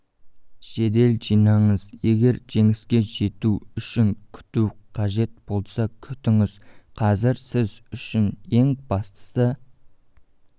жедел жинаңыз егер жеңіске жету үшін күту қажет болса күтіңіз қазір сіз үшін ең бастысы